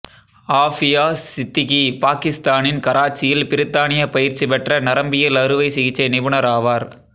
ஆஃபியா சித்திகி பாகிஸ்தானின் கராச்சியில் பிரித்தானிய பயிற்சி பெற்ற நரம்பியல் அறுவை சிகிச்சை நிபுணர் ஆவார்